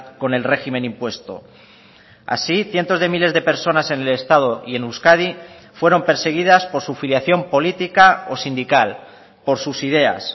con el régimen impuesto así cientos de miles de personas en el estado y en euskadi fueron perseguidas por su filiación política o sindical por sus ideas